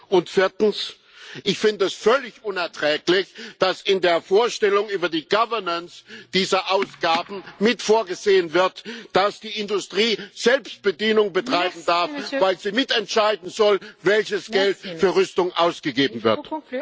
Und viertens Ich finde es völlig unerträglich, dass in der Vorstellung über die Governance dieser Ausgaben mit vorgesehen wird, dass die Industrie Selbstbedienung betreiben darf, weil sie mitentscheiden soll, welches Geld für Rüstung ausgegeben wird.